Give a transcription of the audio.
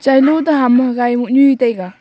tsailo toh ham gai mohnu e taiga.